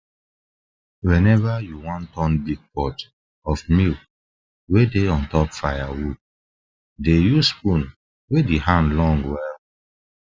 whenever you wan turn big pot of milk wey dey on top firewood dey use spoon wey the hand long well well